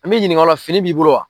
An b'i ɲininka o la fini b'i bolo wa.